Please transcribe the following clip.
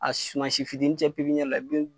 A sumasi fitini cɛ la bin